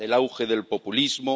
el auge del populismo